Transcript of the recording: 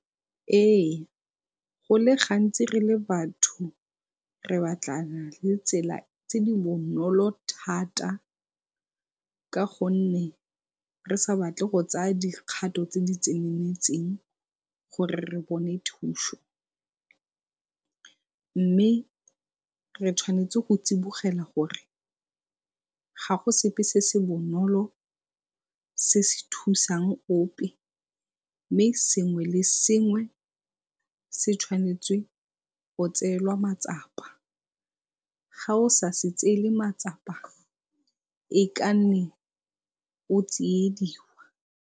Ee, go le gantsi re le batho re batlana le tsela tse di bonolo thata ka gonne re sa batle go tsaya dikgatho tse di tseneletseng gore re bone thuso mme re tshwanetse go tsibogela gore ga go sepe se se bonolo se se thusang ope mme sengwe le sengwe se tshwanetse go tseelwa matsapa, ga o sa se tseele matsapa e ka nne o tsiediwa.